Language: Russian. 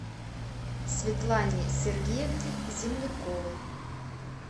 светлане сергеевне земляковой